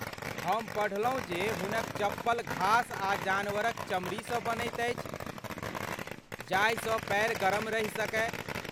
हम पढ़लहुँ जे हुनक चप्पल घास आ जानवरक चमड़ीसँ बनैत अछि जाहिसँ पाएर गरम रहि सकय।